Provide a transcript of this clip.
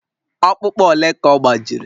Ọkpụkpụ ole ka ọ gbajiri?